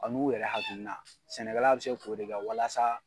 A n'u yɛrɛ hakiina, sɛnɛkɛla bɛ se k'o de kɛ walasa